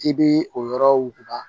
I bɛ o yɔrɔ wuguba